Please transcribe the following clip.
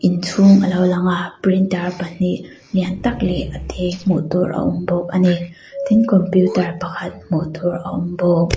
inchhûng a lo lang a printer pahnih lian tak leh a tê hmuh tûr a awm bawk a ni tin computer pakhat hmuh tûr a awm bawk.